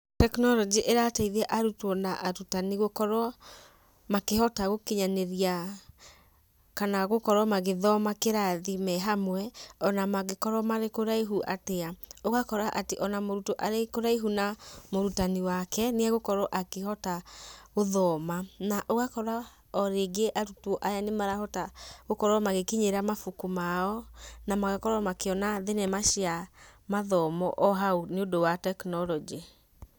[cs Technology ĩrateithia arutwo na arutani, gũkorwo makĩhota gũkinyanĩria, kana gũkorwo magĩthoma kĩrathi me hamwe, ona mangĩkorwo marĩ kũraihu atĩa. Ũgakora atĩ ona mũrutwo arĩ kũraihu na mũrutani wake, nĩegũkorwo akĩhota, gũthoma. Na ũgakora o rĩngĩ arutwo aya nĩmarahota gũkorwo magĩkinyĩra mabuku mao, na magakorwo makĩona thenema cia mathomo o hau, nĩũndũ wa technology.